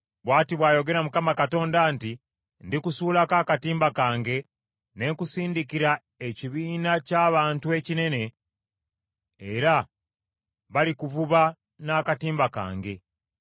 “ ‘Bw’ati bw’ayogera Mukama Katonda nti, “ ‘Ndikusuulako akatimba kange, ne nkusindikira ekibiina ky’abantu ekinene, era balikuvuba n’akatimba kange.